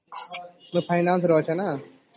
finance ରେ ଅଛେ ନ